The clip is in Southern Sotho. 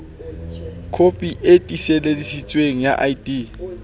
kopi e tiiseleditsweng ya id